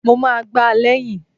Mo ma gbá lẹ̀yìn!